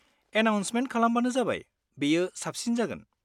Announcement खालामबानो जाबाय, बेयो साबसिन जागोन।